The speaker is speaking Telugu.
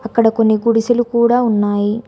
అక్కడ కొన్ని గుడిసెలు కూడా ఉన్నాయి.